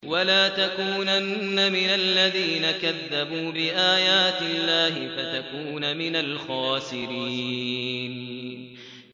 وَلَا تَكُونَنَّ مِنَ الَّذِينَ كَذَّبُوا بِآيَاتِ اللَّهِ فَتَكُونَ مِنَ الْخَاسِرِينَ